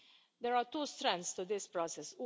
us. There are two strands to this process.